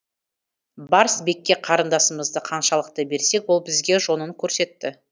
барс бекке қарындасымызды ханшалықты берсек ол бізге жонын көрсетті